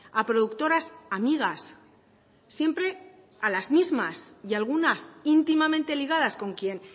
a productoras amigas siempre a las mismas y algunas íntimamente ligadas con quien